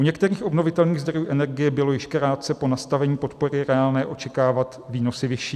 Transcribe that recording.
U některých obnovitelných zdrojů energie bylo již krátce po nastavení podpory reálné očekávat výnosy vyšší.